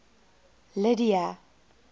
lydia